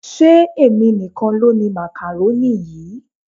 Ṣé èmi nìkan ló ni makaroni yìí?